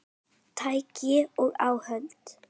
Tæki og áhöld